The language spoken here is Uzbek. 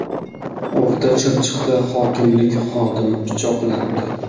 O‘rta Chirchiqda hokimlik xodimi pichoqlandi.